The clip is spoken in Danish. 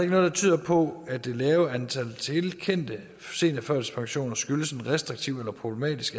noget der tyder på at det lave antal tilkendte seniorførtidspensioner skyldes en restriktiv eller problematisk